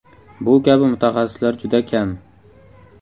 Bu kabi mutaxassislar juda kam.